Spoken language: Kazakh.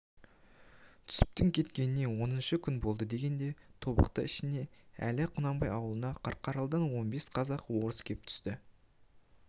түсіптің кеткеніне оныншы күн болды дегенде тобықты ішіне дәл құнанбай аулына қарқаралыдан он бес қазақ-орыс кеп түсті